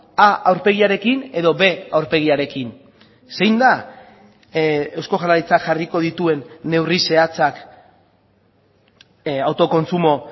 a aurpegiarekin edo b aurpegiarekin zein da eusko jaurlaritzak jarriko dituen neurri zehatzak autokontsumo